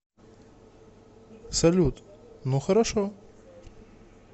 салют ну хорошо